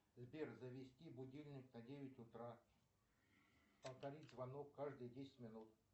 сбер завести будильник на девять утра повторить звонок каждые десять минут